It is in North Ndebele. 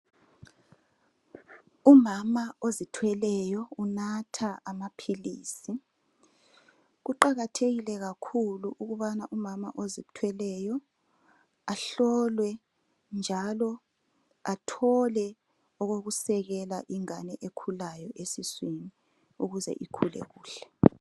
Umama ozithweleyo unatha amaphilisi. Kuqakathekile kakhulu ukubana umama ozithweleyo ahlolwe njalo athole okokusekela ingane ekhulayo esiswini ukuze ikhule kuhle.